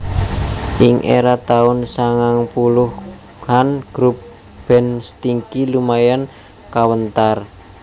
Ing era taun sangang puluhan grup band Stinky lumayan kawentar